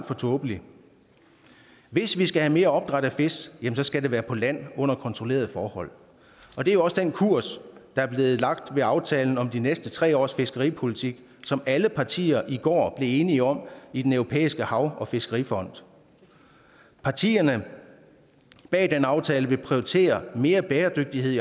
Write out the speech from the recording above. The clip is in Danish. for tåbeligt hvis vi skal have mere opdræt af fisk skal det være på land under kontrollerede forhold og det er jo også den kurs der blev lagt i aftalen om de næste tre års fiskeripolitik som alle partier i går blev enige om i den europæiske hav og fiskerifond partierne bag den aftale vil prioritere mere bæredygtighed i